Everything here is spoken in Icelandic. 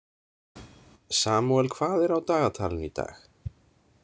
Samúel, hvað er á dagatalinu í dag?